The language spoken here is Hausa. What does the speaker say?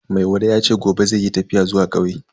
Maiwada yace gobe zai yi tafiya zuwa kauye.